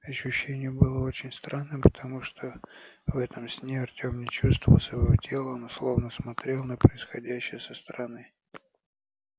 ощущение было очень странным потому что в этом сне артём не чувствовал своего тела но словно смотрел на происходящее со стороны